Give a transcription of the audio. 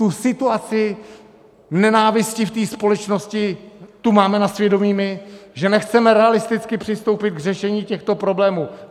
Tu situaci nenávisti v tý společnosti, tu máme na svědomí my, že nechceme realisticky přistoupit k řešení těchto problémů.